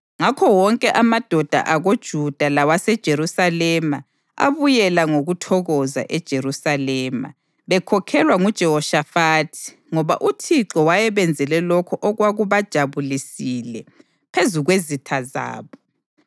Ngakho wonke amadoda akoJuda lawaseJerusalema abuyela ngokuthokoza eJerusalema, bekhokhelwa nguJehoshafathi ngoba uThixo wayebenzele lokho okwakubajabulisile phezu kwezitha zabo.